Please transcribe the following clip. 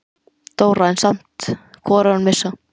Dóra, en vildi samt hvorugan missa.